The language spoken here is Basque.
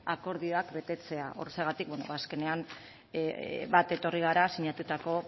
akordioak betetzea horrexegatik bueno azkenean bat etorri gara sinatutako